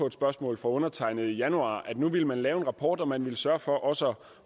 et spørgsmål fra undertegnede i januar at nu ville man lave en rapport og man ville sørge for også